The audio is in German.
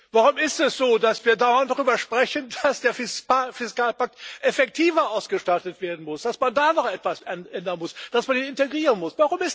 Warum ist es so, dass wir dauernd darüber sprechen, dass der Fiskalpakt effektiver ausgestattet werden muss, dass man da noch etwas ändern muss, dass man den integrieren muss?